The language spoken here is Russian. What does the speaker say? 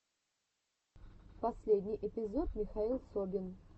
последний эпизод михаил собин